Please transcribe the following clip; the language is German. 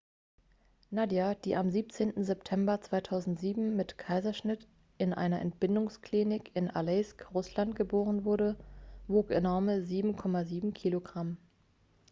nadia die am 17. september 2007 mit kaiserschnitt in einer entbindungsklinik in aleisk russland geboren wurde wog enorme 7,7 kilogramm